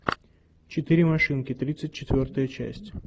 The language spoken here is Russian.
четыре машинки тридцать четвертая часть